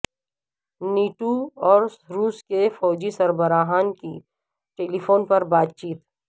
NATO اور روس کے فوجی سربراہان کی ٹیلیفون پر بات چیت